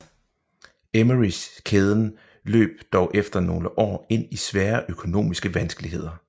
Emmerys kæden løb dog efter nogle år ind i svære økonomiske vanskeligheder